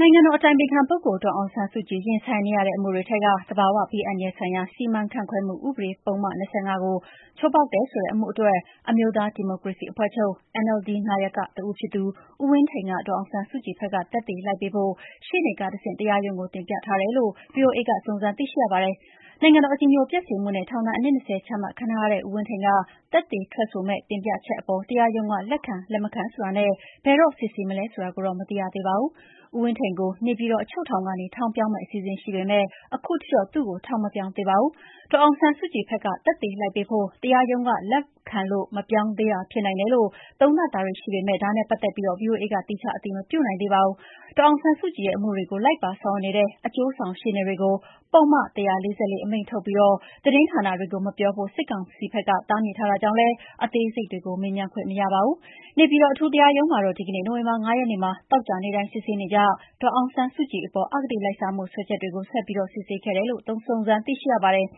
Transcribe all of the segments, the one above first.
နိုင်ငံတော်အတိုင်ပင်ခံပုဂ္ဂိုလ် ဒေါ်အောင်ဆန်းစုကြည် ရင်ဆိုင်နေရတဲ့အမှုတွေထဲက သဘာဝဘေးအန္တရာယ်ဆိုင်ရာ စီမံခန့်ခွဲမှုဥပဒေ ပုဒ်မ ၂၅ ကို ချိုးဖောက်တယ် ဆိုတဲ့အမှုအတွက် အမျိုးသားဒီမိုကရေစီအဖွဲ့ချုပ် (NLD) နာယကတဦးဖြစ်သူ ဦးဝင်းထိန်က ဒေါ်အောင်ဆန်းစုကြည်ဘက်က သက်သေလိုက်ပေးဖို့ ရှေ့နေကတဆင့် တရားရုံးကိုတင်ပြထားတယ်လို့ ဗွီအိုအေက စုံစမ်းသိရှိရပါတယ်။ နိုင်ငံတော် အကြည်ညိုပျက်စေမှုနဲ့ ထောင်ဒဏ် အနှစ် ၂၀ ချမှတ်ခံထားရတဲ့ ဦးဝင်းထိန်က သက်သေထွက်ဆိုမယ့် တင်ပြချက်အပေါ် တရားရုံးက လက်ခံ လက်မခံဆိုတာနဲ့ ဘယ်တော့စစ်ဆေးမလဲ ဆိုတာကိုတော့ မသိရသေးပါဘူး။ ဦးဝင်းထိန်ကို နေပြည်တော်အချုပ်ထောင်ကနေ ထောင်ပြောင်းမယ့် အစီအစဉ်ရှိပေမဲ့ ခုချိန်ထိတော့ သူ့ကို ထောင်မပြောင်းသေးပါဘူး။ဒေါ်အောင်ဆန်းစုကြည်ဘက်က သက်သေလိုက်ပေးဖို့ တရားရုံးကလက်ခံလို့ မပြောင်းသေးတာဖြစ်နိုင်တယ်လို့ သုံးသပ်မှုတွေရှိပေမယ့် ဒါနဲ့ပတ်သက်ပြီး ဗွီအိုအေက သီးခြားအတည်မပြုနိုင်သေးပါဘူး။ ဒေါ်အောင်ဆန်းစုကြည်ရဲ့အမှုတွေကို လိုက်ပါဆောင်ရွက်နေတဲ့ အကျိုးဆောင်ရှေ့နေတွေကို ပုဒ်မ ၁၄၄ အမိန့်ထုတ်ပြီး သတင်းဌာနတွေကိုမပြောဖို့စစ်ကောင်စီဘက်က တားမြစ်ထားတာကြောင့်လည်း အသေးစိတ်တွေကို မေးမြန်းခွင့်မရပါဘူး။ နေပြည်တော် အထူးတရားရုံးမှာတော့ ဒီကနေ့ နိုဝင်ဘာ ၅ ရက်နေ့မှာ သောကြာနေ့တိုင်း စစ်ဆေးနေကျ ဒေါ်အောင်ဆန်းစုကြည်ပေါ် အဂတိလိုက်စားမှုစွဲချက်တွကို ဆက်ပြီးစစ်ဆေးခဲ့တယ်လို့ စုံစမ်းသိရှိရပါတယ်။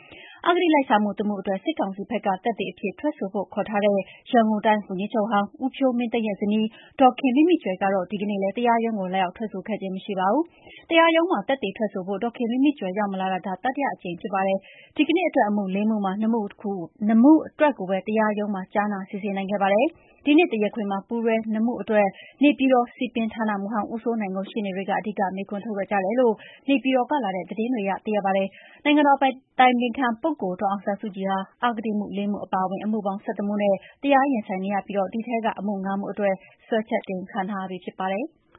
အဂတိလိုက်စားမှုတမှုအတွက် စစ်ကောင်စီဘက်က သက်သေအဖြစ် ထွက်ဆိုဖို့ခေါ်ထားတဲ့ ရန်ကုန်တိုင်းဝန်ကြီးချုပ်ဟောင်း ဦးဖြိုးမင်းသိန်းရဲ့ဇနီး ဒေါ်ခင်မိမိကြွယ်ကတော့ ဒီနေ့လည်း တရားရုံးကို လာရောက်ထွက်ဆိုခဲ့ခြင်း မရှိပါဘူး။ တရားရုံးမှာ သက်သေထွက်ဆိုဖို့ ဒေါ်ခင်မိမိကြွယ်ရောက်မလာတာ ဒါဟာ တတိယအကြိမ်ဖြစ်ပါတယ်။ ဒီနေ့အတွက် အမှု ၄ မှုမှာ ၂ မှုအတွက်ကိုပဲ တရားရုံးမှာ ကြားနာစစ်ဆေးနိုင်ခဲ့ပါတယ်။ ဒီနေ့တရားခွင်မှာ ပူးတွဲ ၂ မှု အတွက် နေပြည်တော် စည်ပင်ဌာနမှူးဟောင်း ဦးစိုးနိုင်ကို ရှေ့နေတွေ အဓိက မေးခွန်းထုတ်ခဲ့ကြတယ်လို့ နေပြည်တော်ကလာတဲ့သတင်းတွေအရ သိရပါတယ်။ နိုင်ငံတော် အတိုင်ပင်ခံပုဂ္ဂိုလ်ဒေါ်အောင်ဆန်းစုကြည်ဟာ အဂတိအမှု ၄ မှု အပါအဝင်အမှုပေါင်း ၁၁ မှုနဲ့ တရားရင်ဆိုင်နေရပြီး ဒီထဲက အမှု ၅ မှုအတွက် စွဲချက်တင်ခံထားရပြီးဖြစ်ပါတယ်။